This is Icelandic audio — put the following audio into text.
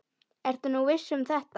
Ertu nú viss um þetta?